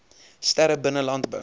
sterre binne landbou